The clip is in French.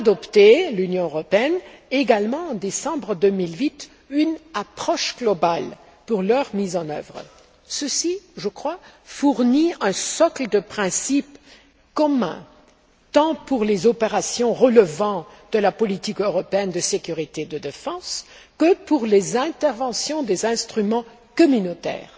D'ailleurs, l'Union européenne a également adopté, en décembre 2008, une approche globale pour la mise en œuvre de ces résolutions. Ceci, je crois, fournit un socle de principes communs, tant pour les opérations relevant de la politique européenne de sécurité et de défense que pour les interventions des instruments communautaires.